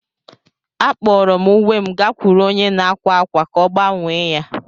Akpọrọ m uwe m gakwuru onye na-akwa akwa ka ọ gbanwee ya.